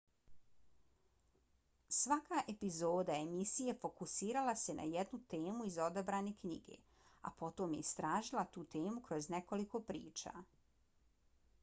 svaka epizoda emisije fokusirala se na jednu temu iz odabrane knjige a potom je istražila tu temu kroz nekoliko priča